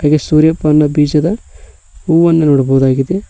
ಈ ಸೂರ್ಯ ಪನ್ನ ಬೀಜದ ಹೂವನ್ನು ನೋಡಬಹುದಾಗಿದೆ.